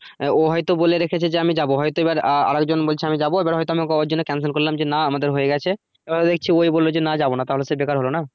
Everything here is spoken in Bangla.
আহ ও হয়তো বলে রেখেছে আমি যাবো হয়তো এবার আহ আর একজন বলছে আমি যাবো এবার হয়তো ও কে আমি ওর জন্য cancel করলাম না আমাদের হয়ে গেছে আহ দেখছি ওয়ই বললো যে না যাবো না তাহলে সে বেকার হলো না?